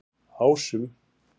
Ásum